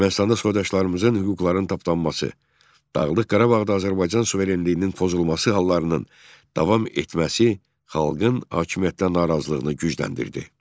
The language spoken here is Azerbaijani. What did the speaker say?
Ermənistanda soydaşlarımızın hüquqlarının tapdanması, Dağlıq Qarabağda Azərbaycan suverenliyinin pozulması hallarının davam etməsi xalqın hakimiyyətdən narazılığını gücləndirdi.